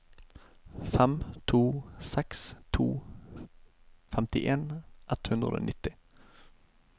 fem to seks to femtien ett hundre og nitti